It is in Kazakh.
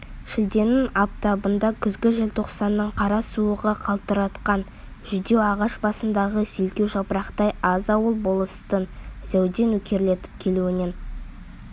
шілденің аптабында күзгі желтоқсанның қара суығы қалтыратқан жүдеу ағаш басындағы селкеу жапырақтай аз ауыл болыстың зәуде нөкерлетіп келуінен